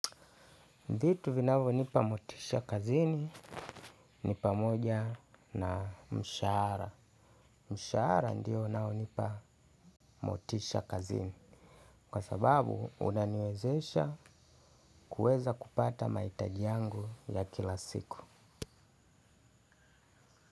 Vituu vinavyonipa motisha kazini ni pamoja na mshahara. Mshahara ndio unaonipa motisha kazini. Kwa sababu unaniwezesha kuweza kupata mahitaji yangu ya kila siku.